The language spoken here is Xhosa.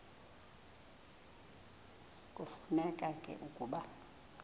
kufuneka ke ukuba